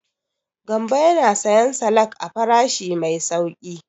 Gambo yana siyan salak a farashi mai sauƙi.